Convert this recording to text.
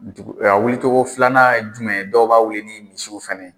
Ntugu a wili cogo filanan ye jumɛn ye? Dɔw b'a wili ni misiw fɛnɛ ye.